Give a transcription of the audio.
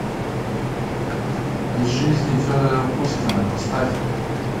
из жизни федора кузькина поставь